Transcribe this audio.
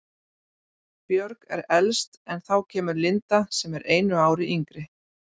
Björg er elst en þá kemur Linda sem er einu ári yngri.